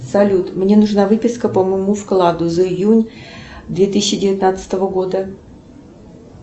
салют мне нужна выписка по моему вкладу за июнь две тысячи девятнадцатого года